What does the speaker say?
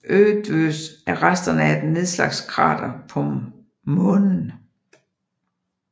Eötvös er resterne af et nedslagskrater på Månen